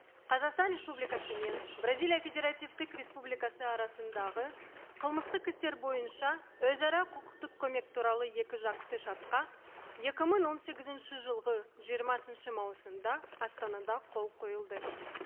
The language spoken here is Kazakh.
қазақстан республикасы мен бразилия федеративтік республикасы арасындағы қылмыстық істер бойынша өзара құқықтық көмек туралы екі жақты шартқа екі мың он сегізінші жылғы жиырмасыншы маусымда астанада қол қойылды